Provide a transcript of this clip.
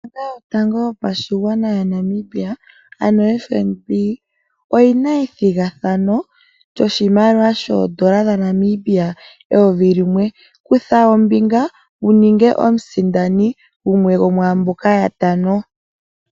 Ombaanga yotango yopashigwana yaNamibia ano FNB. Oyina ethigathano lyoshimaliwa shaNamibia shoondola eyovi limwe. Kutha ombinga wuningwe omusindani gumwe gomwaamboka yatano.